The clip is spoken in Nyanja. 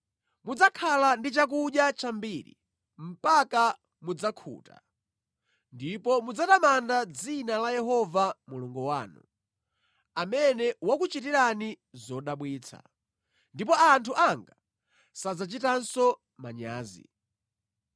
Mudzakhala ndi chakudya chambiri, mpaka mudzakhuta, ndipo mudzatamanda dzina la Yehova Mulungu wanu, amene wakuchitirani zodabwitsa; ndipo anthu anga sadzachitanso manyazi.